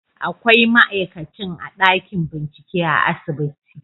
Akwai ma'aikacin a ɗakin bincike a asibiti